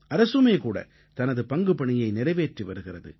அரசுமே கூட தனது பங்குபணியை நிறைவேற்றி வருகிறது